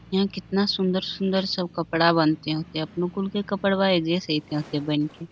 इ केतना सुंदर-सुंदर सब कपड़ा बनते होते --